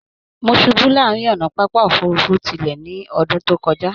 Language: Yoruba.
Mó ṣubu láàrin ọnà pápá òfurùnfu tilẹ ní ọdún tí o kọja